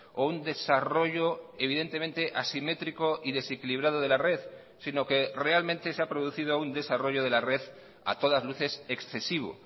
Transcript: o un desarrollo evidentemente asimétrico y desequilibrado de la red sino que realmente se ha producido un desarrollo de la red a todas luces excesivo